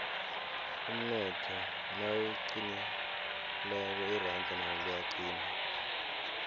umnotho nawuqinileko iranda nalo liyaqina